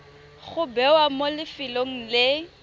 go bewa mo lefelong le